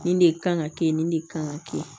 Nin de kan ka kɛ nin de kan ka kɛ